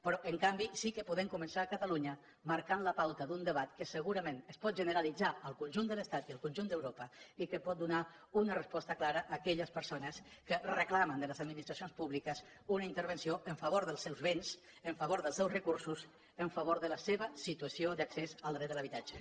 però en canvi sí que podem començar a catalunya marcant la pauta d’un debat que segurament es pot generalitzar al conjunt de l’estat i al conjunt d’europa i que pot donar una resposta clara a aquelles persones que reclamen de les administracions públiques una intervenció a favor dels seus béns a favor dels seus recursos a favor de la seva situació d’accés al dret de l’habitatge